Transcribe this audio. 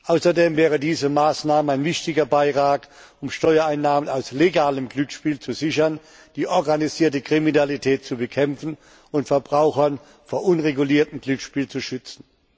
Außerdem wäre diese Maßnahme ein wichtiger Beitrag, um Steuereinnahmen aus legalem Glücksspiel zu sichern, die organisierte Kriminalität zu bekämpfen und Verbraucher vor unreguliertem Glücksspiel zu schützen.